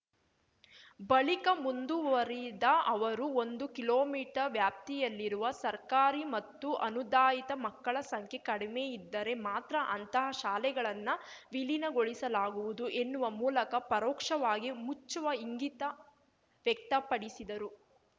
ಬಳಿಕ ಮುಂದುವರಿದ ಅವರು ಒಂದು ಕಿಲೋಮೀಟರ್ ವ್ಯಾಪ್ತಿಯಲ್ಲಿರುವ ಸರ್ಕಾರಿ ಮತ್ತು ಅನುದಾಯಿತ ಮಕ್ಕಳ ಸಂಖ್ಯೆ ಕಡಿಮೆಯಿದ್ದರೆ ಮಾತ್ರ ಅಂತಹ ಶಾಲೆಗಳನ್ನ ವಿಲೀನಗೊಳಿಸಲಾಗುವುದು ಎನ್ನುವ ಮೂಲಕ ಪರೋಕ್ಷವಾಗಿ ಮುಚ್ಚುವ ಇಂಗಿತ ವ್ಯಕ್ತಪಡಿಸಿದರು